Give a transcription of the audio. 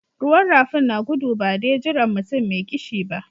Ruwan rafin na gudu ba de jiran mutum mai kishi ba.